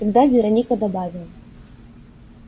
тогда вероника добавила